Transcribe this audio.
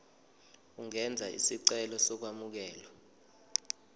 ungenza isicelo sokwamukelwa